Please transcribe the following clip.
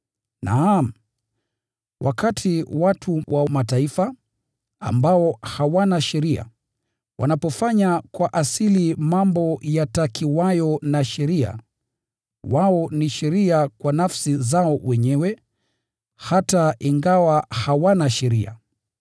(Naam, wakati wa watu wa Mataifa, ambao hawana sheria, wanapofanya kwa asili mambo yatakiwayo na sheria, wao ni sheria kwa nafsi zao wenyewe, hata ingawa hawana sheria.